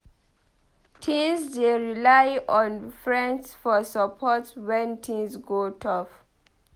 Teens dey rely on friends for support when things go tough.